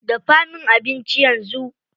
Dafa min abinci yanzu.